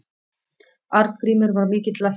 Arngrímur var mikill læknir.